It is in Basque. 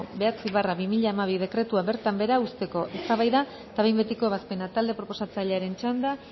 bederatzi barra bi mila hamabi dekretua bertan behera uzteko eztabaida eta behin betiko ebazpena talde proposatzailearen txanda